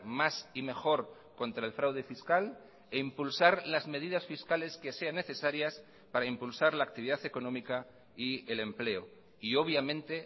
más y mejor contra el fraude fiscal e impulsar las medidas fiscales que sean necesarias para impulsar la actividad económica y el empleo y obviamente